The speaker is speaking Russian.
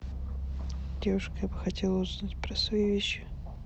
девушка я бы хотела узнать про свои вещи